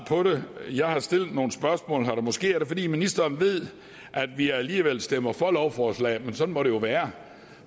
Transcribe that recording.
selv om jeg har stillet nogle spørgsmål det er måske fordi ministeren ved at vi alligevel stemmer for lovforslaget men sådan må det jo være